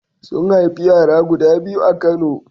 Sun haifi yara guda biyu a Kano.